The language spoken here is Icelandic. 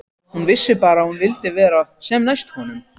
Hún vissi bara að hún vildi vera sem næst honum.